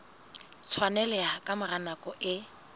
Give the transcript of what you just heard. tshwaneleha ka mora nako e